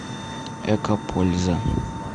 экопольза